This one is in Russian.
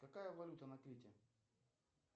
какая валюта на крите